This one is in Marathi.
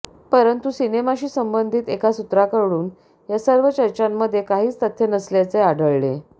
परंतु सिनेमाशी संबंधित एका सूत्राकडून या सर्व चर्चांमध्ये काहीच तथ्य नसल्याचे आढळले